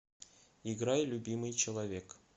играй любимый человек